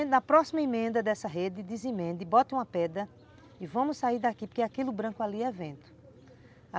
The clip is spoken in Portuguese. na próxima emenda dessa rede, desemenda e bota uma pedra e vamos sair daqui, porque aquilo branco ali é vento.